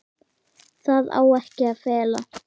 Það á ekki að fela.